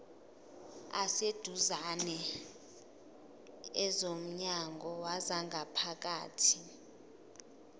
aseduzane ezomnyango wezangaphakathi